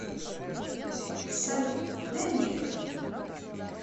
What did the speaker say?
салют дай мне это